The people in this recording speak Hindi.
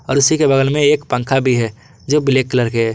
और उसी के बगल में एक पंखा भी है जो ब्लैक कलर के हे।